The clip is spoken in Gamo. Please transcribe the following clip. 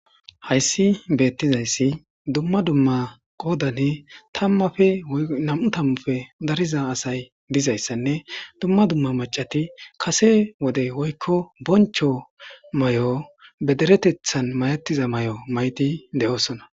Hayssi beettizayssi dumma dumma qoodani tammafe nam'u tammufe dariza asay dizayssanne dumma dumma macati kase wode woykko bronchos may'o bederetethan mayattiza may'o maydi de'oosona